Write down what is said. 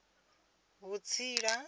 vhutsila